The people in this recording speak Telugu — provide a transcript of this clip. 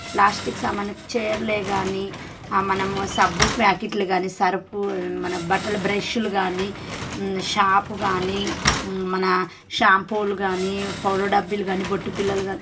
ప్లాస్టిక్ సామాన్లు చేర్లే గాని ఆ మనము సబ్బు ప్యాకెట్లు గానీ సరుపు మన బట్టల బ్రష్ లు గాని షాప్ గాని మన షాంపూలు గాని పౌడర్ డబ్బిలు గాని బొట్టి పిల్లలు కానీ --